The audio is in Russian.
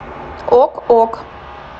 ок ок